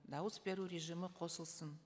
дауыс беру режимі қосылсын